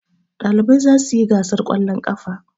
Ɗalibai za su yi gasar ƙwallon ƙafa.